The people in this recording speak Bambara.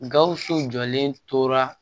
Gawusu jɔlen tora